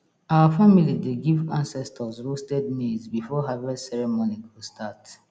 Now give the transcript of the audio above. our family dey give ancestors roasted maize before harvest ceremony go start